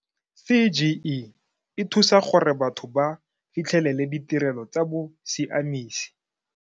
CGE e thusa gore batho ba fitlhelele ditirelo tsa bosiamisi.